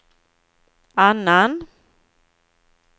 annan